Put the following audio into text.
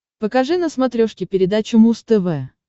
покажи на смотрешке передачу муз тв